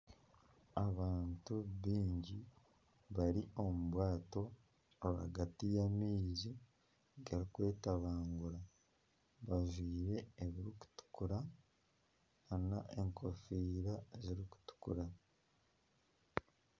Abantu bingi bari omu bwato rwagati y’amaizi garikwetabangura bajwaire ebirikutukura n'enkofiira zirikutukuura.